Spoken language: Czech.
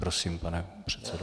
Prosím, pane předsedo.